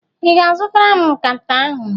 Ị ga-zụtara m nkata ahụ?